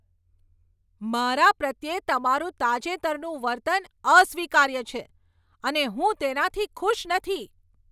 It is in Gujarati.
મારા પ્રત્યે તમારું તાજેતરનું વર્તન અસ્વીકાર્ય છે અને હું તેનાથી ખુશ નથી.